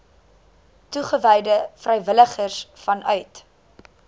toegewyde vrywilligers vanuit